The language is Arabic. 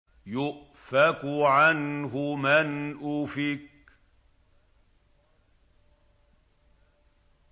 يُؤْفَكُ عَنْهُ مَنْ أُفِكَ